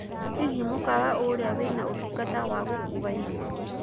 hĩhĩ mũkawa uria wina ũtũngata wa gũkũwa irio